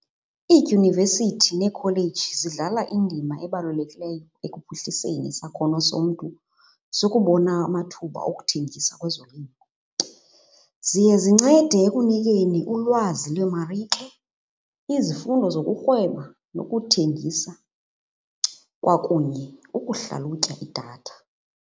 Iidyunivesithi neekholeji zidlala indima ebalulekileyo ekuphuhliseni isakhono somntu sokubona amathuba okuthengisa kwezolimo. Ziye zincede ekunikeni ulwazi lweemarike, izifundo zokurhweba nokuthengisa kwakunye ukuhlalutya idatha.